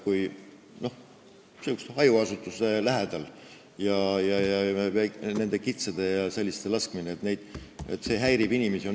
Kui hajaasustuse lähedal toimub kitsede ja teiste selliste loomade laskmine, siis see häirib inimesi.